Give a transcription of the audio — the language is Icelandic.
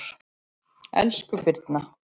Elsku Birna